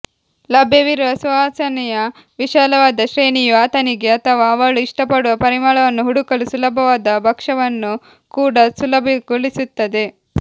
ಲಭ್ಯವಿರುವ ಸುವಾಸನೆಯ ವಿಶಾಲವಾದ ಶ್ರೇಣಿಯು ಆತನಿಗೆ ಅಥವಾ ಅವಳು ಇಷ್ಟಪಡುವ ಪರಿಮಳವನ್ನು ಹುಡುಕಲು ಸುಲಭವಾದ ಭಕ್ಷಕವನ್ನು ಕೂಡಾ ಸುಲಭಗೊಳಿಸುತ್ತದೆ